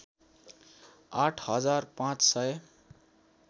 आठ हजार पाँच सय